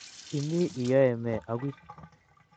Imi iyoe me agui?